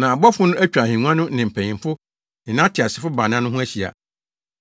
Na abɔfo no atwa ahengua no ne mpanyimfo no ne ateasefo baanan no ho ahyia.